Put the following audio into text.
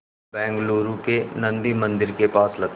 बेंगलूरू के नन्दी मंदिर के पास लगता है